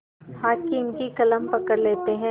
हाकिम की कलम पकड़ लेते हैं